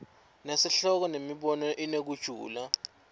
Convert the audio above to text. nesihloko nemibono inekujula